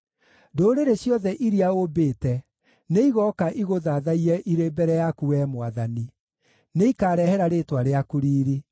Ndũrĩrĩ ciothe iria ũmbĩte nĩigooka igũthathaiye irĩ mbere yaku, Wee Mwathani; nĩikarehera rĩĩtwa rĩaku riiri.